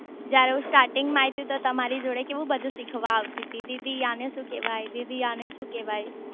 જયારે હું સ્ટાટિન્ગ માં આઈ તી ને તો તમારી જોડે કેવું બધું શીખવા આવતી તી દીદી આને શુ કેવાય દીદી આને શુ કેવાય